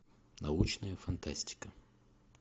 научная фантастика